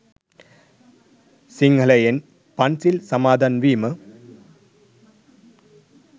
සිංහලයෙන් පන්සිල් සමාදන් වීම,